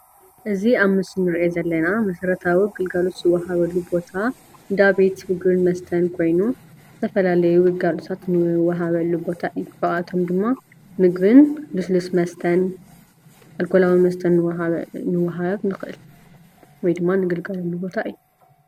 እዝ ኣብ ምስሊ እንርኦ ዘለና መሰረታዊ ግልጋሎት ዝዋሃበሉ ቦታ እንዳ ቤት ምግቢ መስተነ ኮይኑ ዝተፋላለዩ ግልጋሎታት ዝዋሃበሉ ቦታ እዩ፡፡ ካባኣቶሞ ድማ መገን ሉሱሉስ መሰተነ ኣልኮላዊ መሰተን ልዋሃበሉ ልኽእል ወይ ድማ እንግልገለሉ ቦታ እዩ፡፡